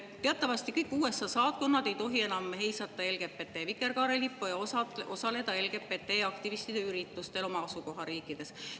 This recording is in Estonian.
Teatavasti ei tohi USA saatkonnad enam heisata LGBT vikerkaarelippu ja osaleda LGBT‑aktivistide üritustel oma asukohariikides.